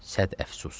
Səd əfsus.